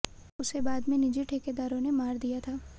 उसे बाद में निजी ठेकेदारों ने मार दिया था